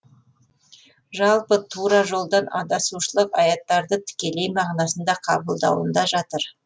жалпы тура жолдан адасушылық аяттарды тікелей мағынасында қабылдауында жатыр